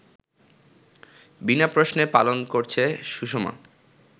বিনা প্রশ্নে পালন করছে সুষমা